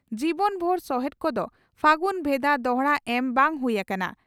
ᱡᱤᱵᱚᱱᱵᱷᱩᱨ ᱥᱚᱦᱮᱛ ᱠᱚᱫᱚ ᱯᱷᱟᱹᱜᱩᱱ ᱵᱷᱮᱫᱟ ᱫᱚᱦᱲᱟ ᱮᱢ ᱵᱟᱝ ᱦᱩᱭ ᱟᱠᱟᱱᱟ ᱾